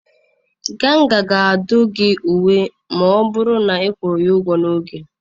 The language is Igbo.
Ganga ga-adụ gị uwe ma ọ bụrụ na ị kwụọ ya ụgwọ n'oge.